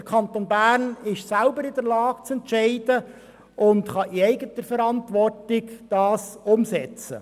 Der Kanton Bern ist selber in der Lage zu entscheiden und kann in eigener Verantwortung umsetzten.